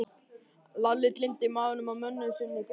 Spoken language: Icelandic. Lalli gleymdi maganum á mömmu sinni í bili.